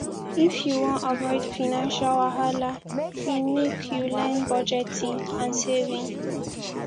if you wan avoid financial wahala lmake you learn budgeting and saving